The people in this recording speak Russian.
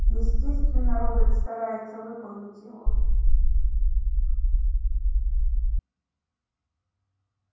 естественно робот старается выполнить его